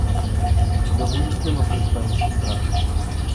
у тебя будет кино пристанище страха